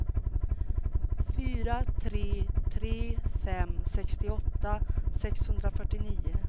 fyra tre tre fem sextioåtta sexhundrafyrtionio